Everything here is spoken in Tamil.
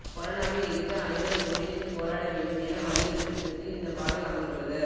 கொரோனாவை எதிர்த்து அனைவரும் ஒன்றிணைந்து போராட வேண்டும் என வலியுறுத்தும் விதத்தில் இந்தப் பாடல் அமைந்துள்ளது